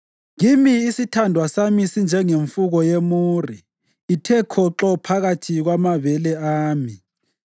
Kimi isithandwa sami sinjengemfuko yemure ithe khoxo phakathi kwamabele ami.